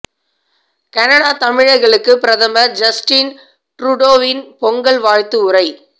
Canada தமிழர்களுக்கு பிரதமர் Justin ட்ரூடோவின் பொங்கல் வாழ்த்து உரை